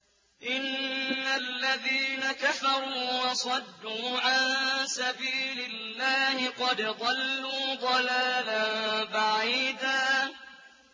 إِنَّ الَّذِينَ كَفَرُوا وَصَدُّوا عَن سَبِيلِ اللَّهِ قَدْ ضَلُّوا ضَلَالًا بَعِيدًا